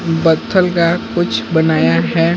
बथल्ल का कुछ बनाया है।